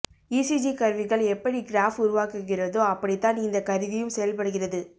ECG கருவிகள் எப்படி graph உருவாக்குகிறதோ அப்படிதான் இந்தக் கருவியும் செயல்படுகிறது